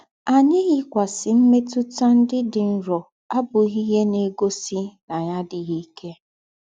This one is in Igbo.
Ànyì ìyíkwásì m̀mètútà ńdị́ dị́ nrọ àbùghí íhe ná-ègósì ná ànyì àdíghí íkè.